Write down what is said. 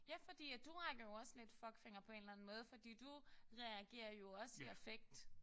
Ja fordi at du rækker jo også lidt fuckfinger på en eller andet måde fordi du reagerer jo også i affekt